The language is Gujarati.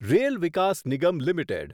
rail Vikas Nigam limited